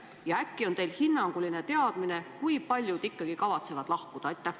Ja äkki on teil hinnanguline teadmine, kui paljud ikkagi kavatsevad lahkuda.